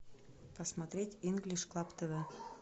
посмотреть инглиш клаб тв